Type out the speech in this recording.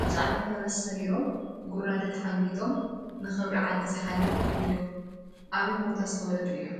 ኣብ ፃዕዳ ፈረስ ሰሪሮምን ጉራደ ተሓንጊጦምን ንኽብሪ ዓዲ ዝሓለፉ እዮም፡፡ ኣበይ ቦታ ዝተወለዱ እዮም?